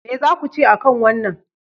Me za ku ce a kan wannan?